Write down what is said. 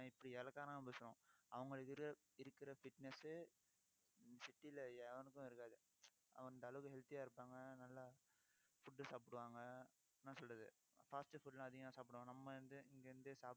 இப்படி இளக்காரமா பேசுறோம். அவங்களுக்கு இருக்கிற இருக்கிற fitness city ல எவனுக்கும் இருக்காது அவன் இந்த அளவுக்கு healthy ஆ இருப்பாங்க. நல்லா, food சாப்பிடுவாங்க. என்ன சொல்றது fast food லாம் அதிகமா சாப்பிடுவாங்க. நம்ம வந்து இங்க இருந்து